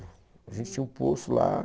A gente tinha um poço lá.